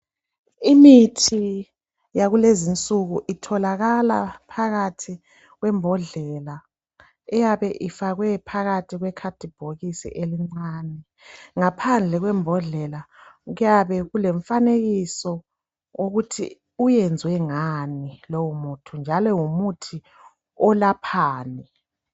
Imithi yakulezi insuku itholakala phakathi kwembodlela eyabe ifakwe phakathi kwekhadibhokisi elincane. Ngaphandle kwembodlela kuyabe kulemifanekiso okuthi uyenzwe ngani lowo muthi njalo ngumuthi olaphani.